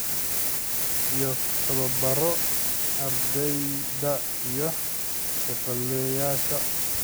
iyo tababaro ardayda iyo xirfadlayaasha.